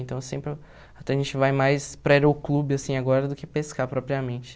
Então, sempre... Até a gente vai mais para aeroclube, assim, agora, do que pescar propriamente.